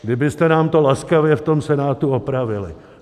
Kdybyste nám to laskavě v tom Senátu opravili.